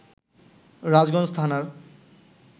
রাজগঞ্জ থানার